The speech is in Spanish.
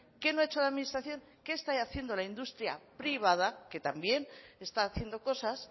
qué no ha hecho la administración qué está haciendo la industria privada que también está haciendo cosas